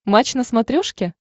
матч на смотрешке